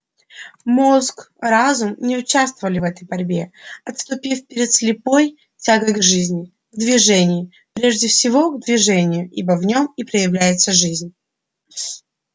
мозг разум не участвовали в этой борьбе отступив перед слепой тягой к жизни к движений прежде всего к движению ибо в нём и проявляется жизнь